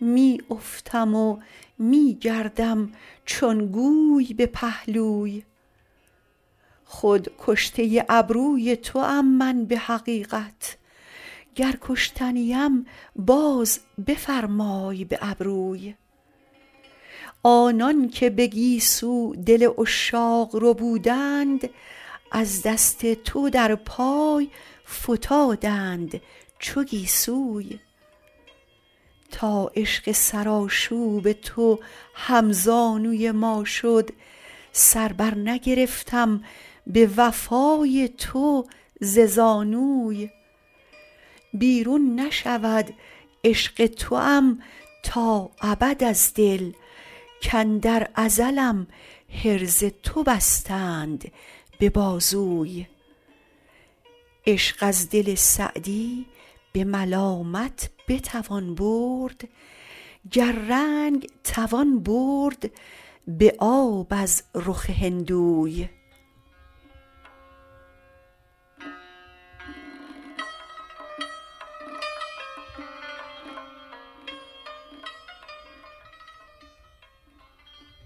می افتم و می گردم چون گوی به پهلوی خود کشته ابروی توام من به حقیقت گر کشته نیم باز بفرمای به ابروی آنان که به گیسو دل عشاق ربودند از دست تو در پای فتادند چو گیسوی تا عشق سرآشوب تو هم زانوی ما شد سر بر نگرفتم به وفای تو ز زانوی بیرون نشود عشق توام تا ابد از دل کاندر ازلم حرز تو بستند به بازوی عشق از دل سعدی به ملامت بتوان برد گر رنگ توان برد به آب از رخ هندوی